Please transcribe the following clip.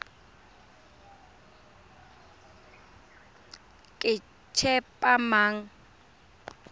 ketshepamang